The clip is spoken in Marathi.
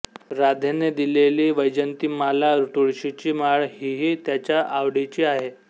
राधेने दिलेली वैजयंतीमाला तुळशीची माळ हीही त्याच्या आवडीची आहे